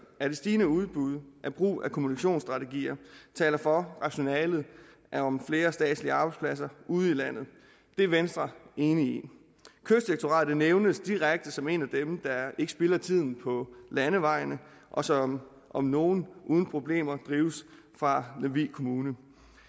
at det stigende udbud af brug af kommunikationsstrategier taler for rationalet om flere statslige arbejdspladser ude i landet det er venstre enig i kystdirektoratet nævnes direkte som en af dem der ikke spilder tiden på landevejene og som om nogen uden problemer drives fra lemvig kommune men